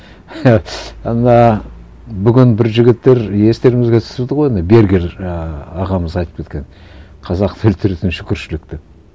ана бүгін бір жігіттер естеріңзіге түсірді ғой ана бергер ііі ағамыз айтып кеткен қазақты өлтіретін шүкіршілік деп